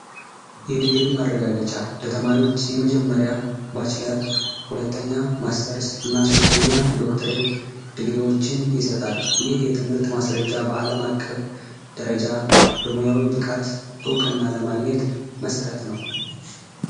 የዲግሪ ማረጋገጫ የተማሪዎች የመጀመሪያ ባችለር ሁለተኛ ማስተርስ እና ሶስተኛ ዶክትሬት ዲግሪዎችን ይሰጣል። ይህ የትምህርት ማስረጃ በአለም አቀፍ ደረጃ በሙያዊ ብቃት እውቅና ለማግኘት መሰረት ነው።